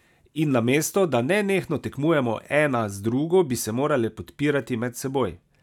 In namesto, da nenehno tekmujemo ena z drugo, bi se morale podpirati med seboj.